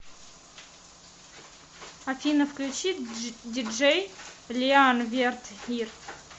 афина включи диджей лиан верт ир